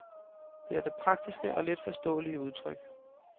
Det er da praktiske og let forståelige udtryk.